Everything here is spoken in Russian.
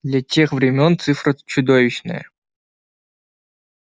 для тех времён цифра чудовищная